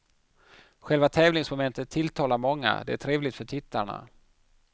Själva tävlingsmomentet tilltalar många, det är trevligt för tittarna.